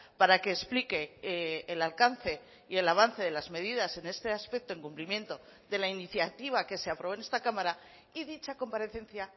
para que explique el alcance y el avance de las medidas en este aspecto en cumplimiento de la iniciativa que se aprobó en esta cámara y dicha comparecencia